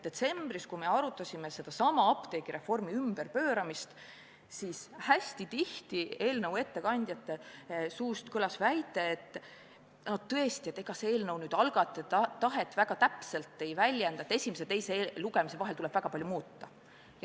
Detsembris, kui me arutasime sedasama apteegireformi ümberpööramist, kõlas eelnõu ettekandjate suust tihti väide, et ega see eelnõu algatajate tahet väga täpselt ei väljenda ja et esimese ja teise lugemise vahel tuleb väga palju muuta.